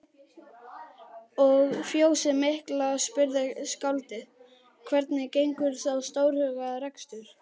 Og fjósið mikla, spurði skáldið, hvernig gengur sá stórhuga rekstur?